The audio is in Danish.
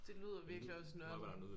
Det lyder virkelig også nørdet